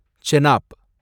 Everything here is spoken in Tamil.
செனாப்